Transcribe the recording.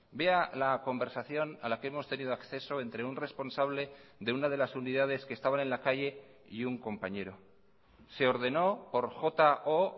vea la conversación a la que hemos tenido acceso entre un responsable de una de las unidades que estaban en la calle y un compañero se ordenó por jo